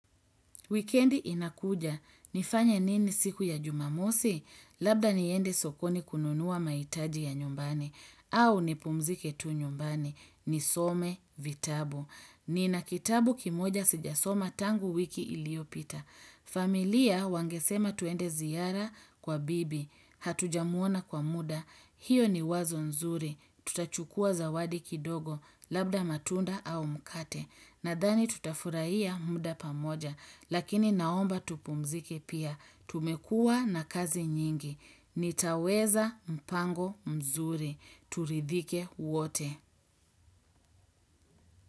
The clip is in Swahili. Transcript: Wikendi inakuja. Nifanye nini siku ya jumamosi? Labda niende sokoni kununuwa maitaji ya nyumbani. Au nipumzike tu nyumbani. Nisome vitabu. Nina kitabu kimoja sijasoma tangu wiki iliopita. Familia wangesema tuende ziyara kwa bibi Hatujamuona kwa muda hiyo ni wazo nzuri Tutachukua zawadi kidogo Labda matunda au mkate Nadhani tutafurahiya muda pamoja Lakini naomba tupumzike pia Tumekua na kazi nyingi nitaweza mpango mzuri turidhike wote.